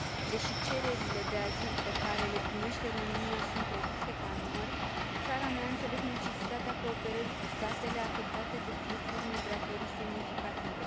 Deși cererile de azil pe care le primește România sunt reduse ca număr, țara mea a înțeles necesitatea cooperării cu statele afectate de fluxuri migratorii semnificative.